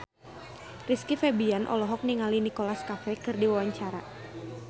Rizky Febian olohok ningali Nicholas Cafe keur diwawancara